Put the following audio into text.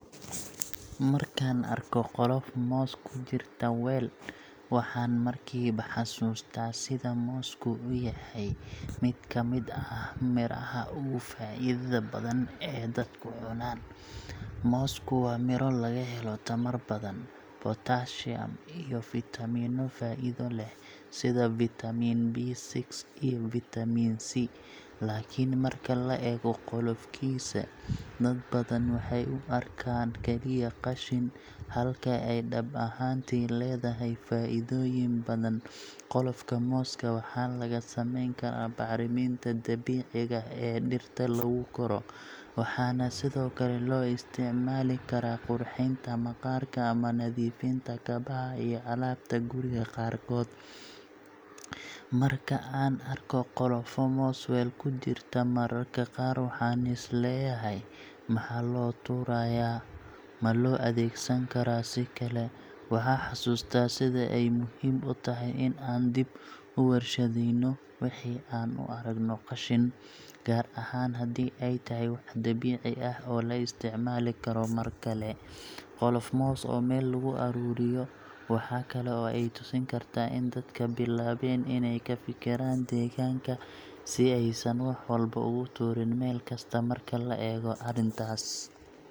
Markaan arko qolof moos ku jirta weel, waxaan markiiba xasuustaa sida moosku u yahay mid kamid ah miraha ugu faa’iidada badan ee dadku cunaan. Moosku waa miro laga helo tamar badan, potassium, iyo fiitamiino faa’iido leh, sida vitamin B6 iyo vitamin C. Laakiin marka la eego qolofkiisa, dad badan waxay u arkaan kaliya qashin, halka ay dhab ahaantii leedahay faa’iidooyin badan. Qolofka mooska waxa laga samayn karaa bacriminta dabiiciga ah ee dhirta lagu koro, waxaana sidoo kale loo isticmaali karaa qurxinta maqaarka ama nadiifinta kabaha iyo alaabta guriga qaarkood. Marka aan arko qolofo moos weel ku jirta, mararka qaar waxaan is leeyahay: Maxaa loo tuurayaa Ma loo adeegsan karaa si kale?” Waxaa xasuustaa sida ay muhiim u tahay in aan dib u warshadaynno wixii aan u aragno qashin, gaar ahaan haddii ay tahay wax dabiici ah oo la isticmaali karo mar kale. Qolof moos oo meel lagu ururiyo waxa kale oo ay tusin kartaa in dadka bilaabeen inay ka fikiraan deegaanka, si aysan wax walba ugu tuurin meel kasta. Marka la eego arrintaas.